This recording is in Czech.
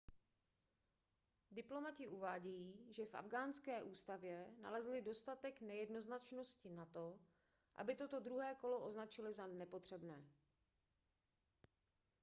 diplomati uvádějí že v afghánské ústavě nalezli dostatek nejednoznačnosti na to aby toto druhé kolo označili za nepotřebné